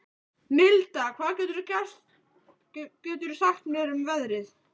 Milda, hvað geturðu sagt mér um veðrið?